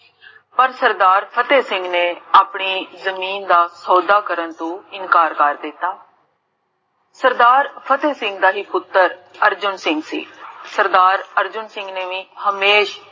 ਪਰ ਸਰਦਾਰ ਫ਼ਤੇਹ ਸਿੰਘ ਨੇ, ਆਪਣੀ ਜਮੀਨ ਦਾ, ਸੋਦਾ ਕਰਨ ਤੋਂ ਇਨਕਾਰ ਕਰ ਦਿਤਾ ਸਰਦਾਰ ਫ਼ਤੇਹ ਸਿੰਘ ਦਾ ਪੁਤਰ ਅਰਜੁਨ ਸਿੰਘ ਸੀ ਸਰਦਾਰ ਅਰਜੁਨ ਸਿੰਘ ਨੇ ਹਮੇਸ਼ਾ